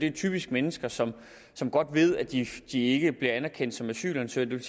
er typisk mennesker som godt ved at de ikke bliver anerkendt som asylansøgere det